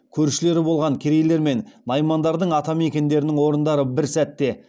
көршілері болған керейлер мен наймандардың ата мекендерінің орындары бір сәтте